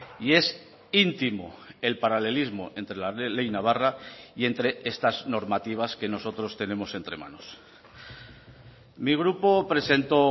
y es íntimo el paralelismo entre la ley navarra y entre estas normativas que nosotros tenemos entre manos mi grupo presentó